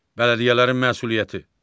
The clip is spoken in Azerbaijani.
Bələdiyyələrin məsuliyyəti.